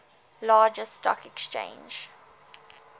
largest stock exchange